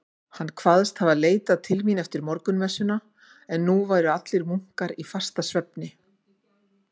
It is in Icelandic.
Hann kvaðst hafa leitað mín eftir morgunmessuna, en nú væru allir munkar í fastasvefni.